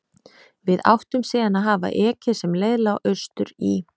Við áttum síðan að hafa ekið sem leið lá austur í